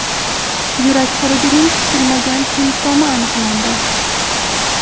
Yurak xurujining kutilmagan simptomi aniqlandi.